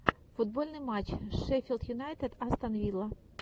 футбольный матч шеффилд юнайтед астон вилла